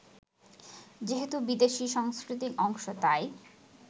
যেহেতু বিদেশি সংস্কৃতির অংশ তাই